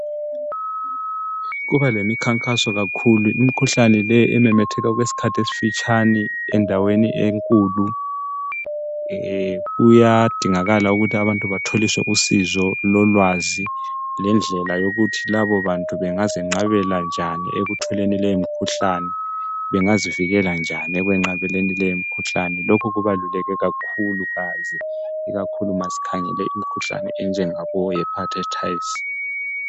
kuba lemikhankaso kakhulu imikhuhlane le ememetheka okwesikhathi esifitshane endaweni enkulu kuyadingakala ukthi abantu batholiswe usizo lolwazi lendlela yokuthi labo bantu bangezenqabela njani ekutholeni leyo mikhuhlane bengazivikela njani ekwenqabeni leyi mikhuhlane lokhu kubaluleke kakhulu kazi ikakhulu masikhangele imikhuhlane enjenga hepatatis